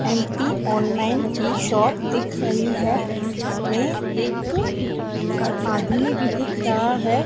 M P online की shop दिख रही है इसमें एक आदमी भी दिख रहा है।